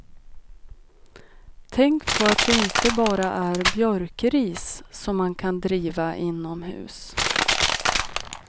Tänk på att det inte bara är björkris som man kan driva inomhus.